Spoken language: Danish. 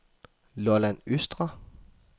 Lolland Østre